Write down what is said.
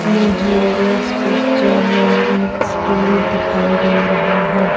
मुझे इस पिक्चर मे एक स्कूल दिखाई दे रहा हैं।